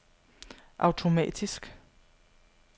automatisk